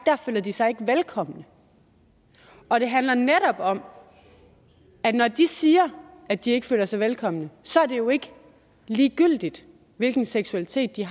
at de sig velkomne og det handler netop om at det når de siger at de ikke føler sig velkomne så ikke er ligegyldigt hvilken seksualitet de